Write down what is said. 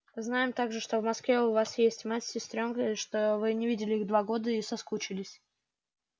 знаем также что в москве у вас мать с сестрёнкой что не видели вы их два года и соскучились